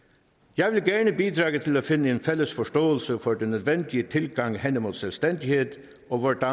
jeg vil gerne bidrage til at finde en fælles forståelse for den nødvendige tilgang hen imod selvstændighed og hvordan